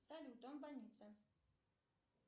салют он в больнице